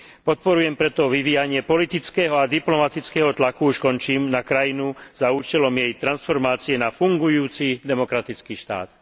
Podporujem preto vyvíjanie politického a diplomatického tlaku na krajinu za účelom jej transformácie na fungujúci demokratický štát.